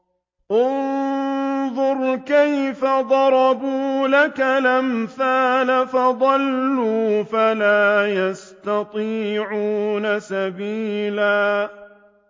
انظُرْ كَيْفَ ضَرَبُوا لَكَ الْأَمْثَالَ فَضَلُّوا فَلَا يَسْتَطِيعُونَ سَبِيلًا